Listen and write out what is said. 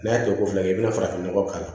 N'a tɛ ko fila kɛ i bɛ farafin nɔgɔ k'a la